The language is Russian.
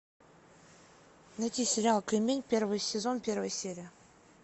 найти сериал кремень первый сезон первая серия